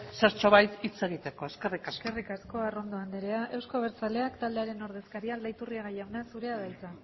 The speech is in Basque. zertxo bat hitz egiteko eskerrik asko eskerrik asko arrondo andrea euzko abertzaleak taldearen ordezkaria aldaiturriaga jauna zurea da hitza